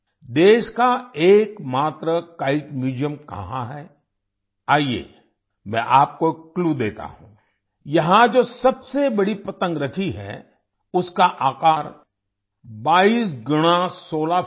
देश का एकमात्र किते म्यूजियम कहाँ है आइए मैं आपको एक क्लू देता हूं यहाँ जो सबसे बड़ी पतंग रखी है उसका आकार 22 गुणा 16 फीट है